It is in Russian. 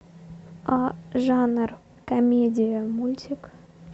жанр комедия мультик